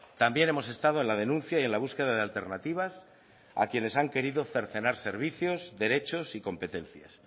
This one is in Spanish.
también hemos estado en la denuncia y en la búsqueda de alternativas a quienes han querido cercenar servicios derechos y competencias